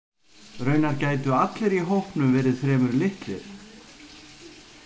Raunar gætu allir í hópnum verið fremur litlir.